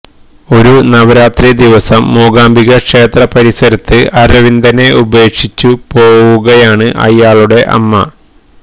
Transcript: ഒരു നവരാത്രി ദിവസം മൂകാംബിക ക്ഷേത്ര പരിസരത്ത് അരവിന്ദനെ ഉപേക്ഷിച്ചു പോകുകയാണ് അയാളുടെ അമ്മ